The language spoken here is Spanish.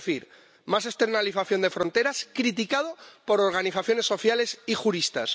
Es decir, más externalización de fronteras, algo criticado por organizaciones sociales y juristas.